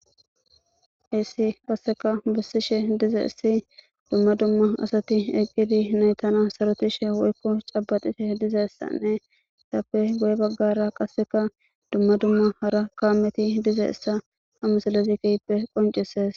Heessi qasseka bessishe dizaessi dumma dumma asati eqqidi naytana sarotishe woykko cabaxite dizaessanne tappe goye baggara qasseka dumma dumma hara kaameti dizaessa hamusallazikeyppe qoncises.